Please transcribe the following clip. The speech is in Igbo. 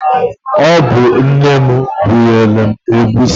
Ọ bu nne m bunyelu egwusi.